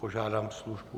Požádám službu.